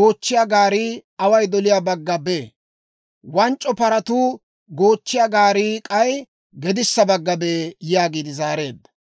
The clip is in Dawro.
goochchiyaa gaarii away doliyaa bagga bee; wanc'c'o paratuu goochchiyaa gaarii k'ay gedissa bagga bee» yaagiide zaareedda.